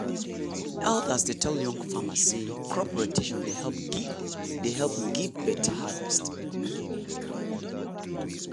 elders dey tell young farmers say crop rotation dey help give dey help give better harvest.